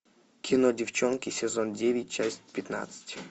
кино девчонки сезон девять часть пятнадцать